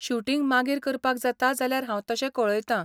Shooting मागीर करपाक जाता जाल्यार हांव तशें कळयतां.